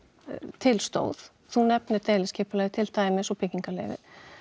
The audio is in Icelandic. til stóð þú nefnir deiliskipulagið til dæmis og byggingarleyfið